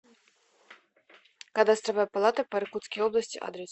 кадастровая палата по иркутской области адрес